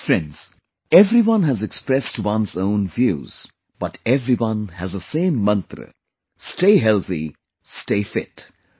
Friends, everyone has expressed one's own views but everyone has the same mantra 'Stay Healthy, Stay Fit'